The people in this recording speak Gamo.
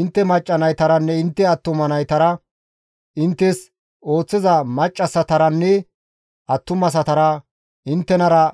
Intte macca naytaranne intte attuma naytara, inttes ooththiza maccassataranne attumasatara, inttenara